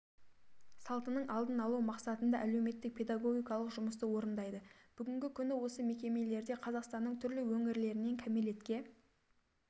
салтының алдын алу мақсатында әлеуметтік-педагогикалық жұмысты орындайды бүгінгі күні осы мекемелерде қазақстанның түрлі өңірлерінен кәмелетке